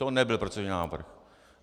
To nebyl procedurální návrh.